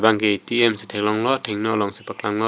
anke A_T_M si theklong lo thengno long si paklang lo dak --